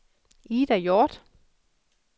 Ida Hjorth